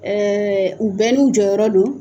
Ɛɛ u bɛn n'i jɔ yɔrɔ don.